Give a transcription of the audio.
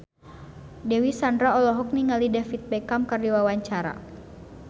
Dewi Sandra olohok ningali David Beckham keur diwawancara